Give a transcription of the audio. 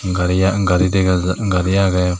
gari an gari dega jar gari agey.